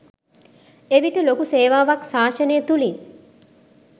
එවිට ලොකු සේවාවක් ශාසනය තුළින්